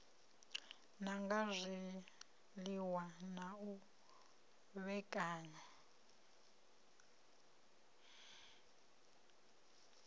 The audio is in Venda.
nanga zwiliṅwa na u vhekanya